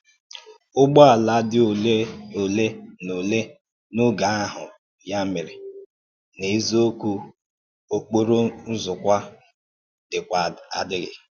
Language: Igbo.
Ụ́gbọ̀ àlà dì òlè òlè na òlè n’ógè ahụ̀, ya mèrè, n’èzíòkwù, ọ̀kpòrò ǹzòkwà dị̀kwa adìghì.